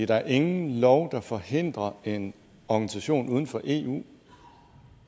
der er ingen lov der forhindrer en organisation uden for eu